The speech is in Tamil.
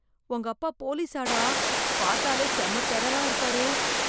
உங்க அப்பா போலீசாடா, பாத்தாலே செம டெரரா இருக்காரு.